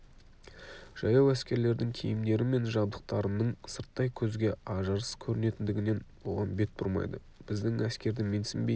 жаяу әскерлердің киімдері мен жабдықтарының сырттай көзге ажарсыз көрінетіндігінен оған бет бұрмайды біздің әскерді менсінбей